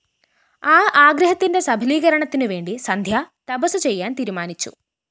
ആ ആഗ്രഹത്തിന്റെ സഫലീകരണത്തിനുവേണ്ടി സന്ധ്യ തപസ്സ് ചെയ്യാന്‍ തീരുമാനിച്ചു